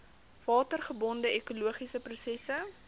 watergebonde ekologiese prosesse